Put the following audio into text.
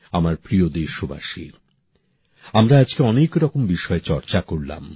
আমার প্রিয় দেশবাসী আমরা আজকে অনেক রকম বিষয়ে চর্চা করলাম